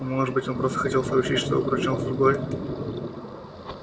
а может быть он просто хотел сообщить что обручён с другой